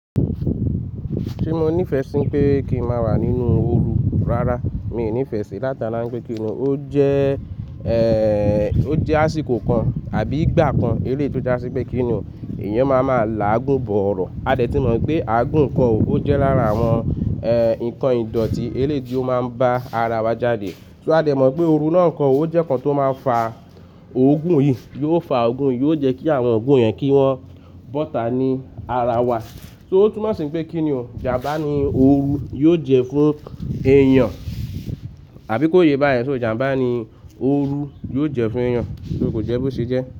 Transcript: Ti mo nifẹ sí pé kí n máa wà nínú ooru rárá, mi ò nifẹ sì látara pé kí ni ó jẹ́, ẹ́, ó jẹ́ àsìkò kan àbí ìgbà kan eleyi tó já sí pé kí ni èèyàn máa máa làágùn bọ̀ ọ̀rọ̀. A dẹ̀ tí mọ̀ pé àágùn kan òróró jẹ́ lára àwọn, ẹ́, ǹkan ìdọ̀tí eré tí ó máa ń bá ara wa jáde. So a dẹ̀ mọ̀ pé ooru náà kan òróró jẹ́ kan tó máa ń fa òógùn yìí, yóò fa òógùn, yóò jẹ́ kí àwọn òógùn yẹn kí wọ́n bọ́ta ní ara wa. So ó túnmọ̀ sí pé kí ni o, ìjàmbá ni ooru yóò jẹ́ fún èèyàn. Àbí kó yé bá yẹn, só ìjàmbá ni ooru yóò jẹ́ fún èèyàn, só kò jẹ́ bó ṣe jẹ́